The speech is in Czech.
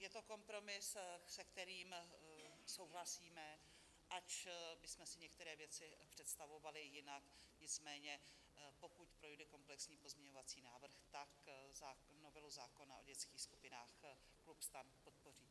Je to kompromis, před kterým souhlasíme, ač bychom si některé věci představovali jinak, nicméně pokud projde komplexní pozměňovací návrh, tak novelu zákona o dětských skupinách klub STAN podpoří.